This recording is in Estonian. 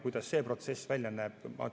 Kuidas see protsess välja näeb?